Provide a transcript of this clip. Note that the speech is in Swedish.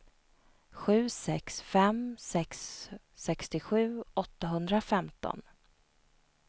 sju sex fem sex sextiosju åttahundrafemton